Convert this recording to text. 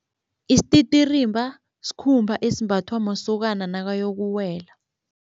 Isititirimba sikhumba esimbathwa masokana nakayokuwela.